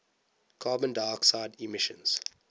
carbon dioxide emissions